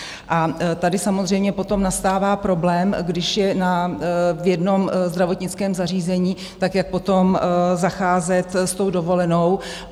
A tady samozřejmě potom nastává problém, když je v jednom zdravotnickém zařízení, tak jak potom zacházet s tou dovolenou?